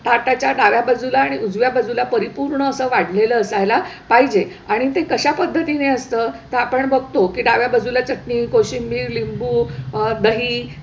ताटाच्या डाव्या बाजूला आणि उजव्या बाजूला परिपूर्ण अस वाढलेलं असायला पाहिजे आणि ते कशा पद्धतीने असतं, तर आपण बघतो की डाव्या बाजूला चटणी, कोशिंबीर, लिंबू, अह दही,